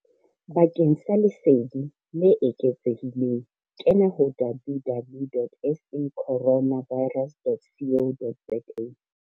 Bakeng sa lesedi le eketsehileng kena ho www.sacorona virus dot co dot za.